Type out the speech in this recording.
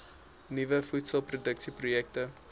nuwe voedselproduksie projekte